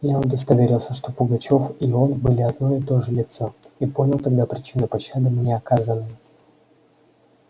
я удостоверился что пугачёв и он были одно и то же лицо и понял тогда причину пощады мне оказанной